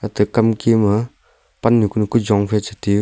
ate kam ke ma pannyu kanyu jong phai che tai yu.